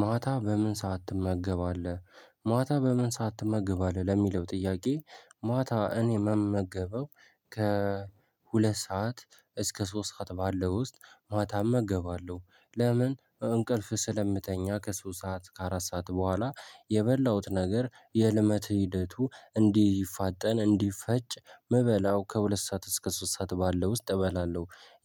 ማታ በምን ሰዓት ትመገባለህ ማታ በምን ሰዓት ትመገባለህ ለሚለው ጥያቄ? ማታ እኔ ምመገበው ከሁለት ሰዓት እስከ ሶስት ሰዓት ባለው ውስጥ ማታ እመገባለሁ። ለምን እንቅልፍ ስለምተኛ ከሶስት ሰዓት ከአራት ሰዓት በኋላ የበላሁት ነገር የልመት ሂደቱ እንዲህፋጠን እንዲፈጭ መበላው ከሁለት ሰዓት እስከ ሶስት ሰዓት ባለው ውስጥ እበላለሁ።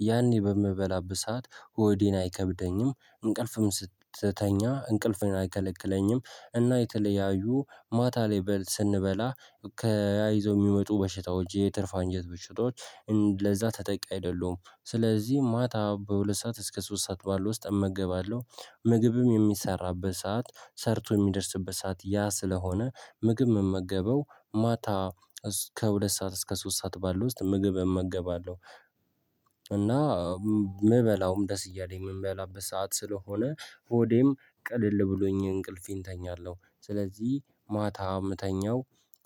ያኔ በምበላበት ሰዓት ሆዴን አይከብደኝም እንቅልፍም ስትተኛ እንቅልፎን አይከለክለኝም። እና የተለያዩ ማታ ላይ በል ስንበላ ታያይዘው የሚመጡ በሽታዎች የትርፍ አንጀት ብሽታዎች። ለዛ ተጠቂ አይደሉም ስለዚህ ማታ በሁለት ሰዓት እስከ ሶስት ሰዓት ባለው ውስጥ እመገባለሁ። ምግብም የሚሰራበት ሰዓት ሰርቶ የሚደርስበት ሰዓት ያ ስለሆነ ምግብ መመገበው ማታ እስከ ሁለት ሰዓት እስከ ሶስት ሰዓት ባለው ውስጥ ምግብ እመገባለሁ። እና ምበላውም ደስ እያለኝ የምበላው ሰዓት ስለሆነ ሆዴም ቅልል ብሎኝ እንቅልፌን እተኛለሁ። ስለዚህ ማታ የምተኛው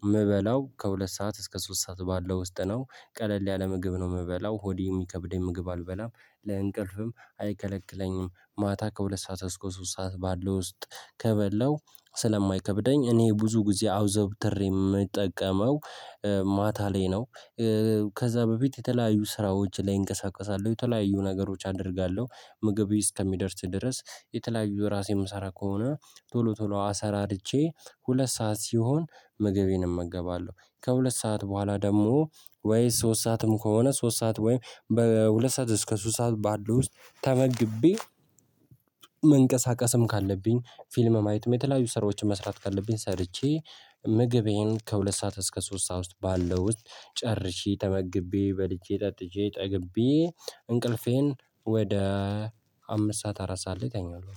የምበላው ከሁለት ሰዓት እስከ ሶስት ሰዓት ባለው ውስጥ ነው። ቀለል ያለ ምግብ ነው ምበላው ሆዴ የሚከብደኝ ምግብ አልበላም ለእንቅልፍም አይከለክለኝም። ማታ ከሁለት ሰዓት እስከ ሶስት ሰዓት ባለው ውስጥ ከበላው ስለማይከብደኝ እኔ ብዙ ጊዜ አዘውተሬ የምጠቀመው ማታ ላይ ነው። ከዛ በፊት የተለያዩ ስራዎች ላይ እንቀሳቀሳለን የተለያዩ ነገሮች አደርጋለሁ። ምግብዬ እስከሚደርስ ድረስ የተለያዩ ራሴ ምሰራ ከሆነ ቶሎ ቶሎ አሰራርቼ ሁለት ሰዓት ሲሆን ምግቤን እመገባለሁ። ከሁለት ሰዓት በኋላ ደግሞ ወይ ሶስት ሰዓትም ከሆነ ሶስት ሰዓት ወይ በሁለት ሰዓት እስከ ሶስት ሰዓት ባለው ውስጥ ተመግቤ። መንቀሳቀስም ካለብኝ ፊልም ማየትም የተለያዩ ሰራዎችን መስራት ካለብኝ ሰርቼ ምግቤን ከሁለት ሰዓት እስከ ሶስት ሰዓት ውስጥ ባለው ውስጥ ጨርሼ ተመግቤ በልቼ ጠጥቼ ጠግቤ። እንቅልፌን ወደ አምስት ሰዓት አራት ሰዓት ላይ እተኛለሁ